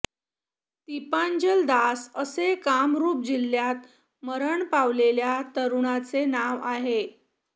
दीपांजल दास असे कामरुप जिल्ह्यात मरण पावलेल्या तरूणाचे नाव आहे